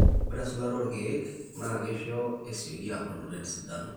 ore esulata na keisho ilkiek esioki aabulu tesidano